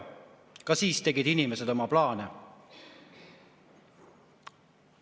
Ka siis tegid inimesed oma plaane.